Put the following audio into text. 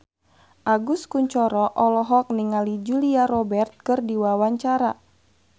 Agus Kuncoro olohok ningali Julia Robert keur diwawancara